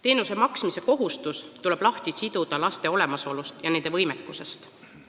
Teenuse maksmise kohustus tuleb lahti siduda laste olemasolust ja nende võimekusest.